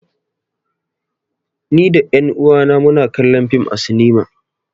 Ni da ƴan uwa na mu na kallon fim a sinima